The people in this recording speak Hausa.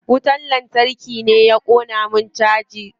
Wutar lantarki ne ya ƙona min caja.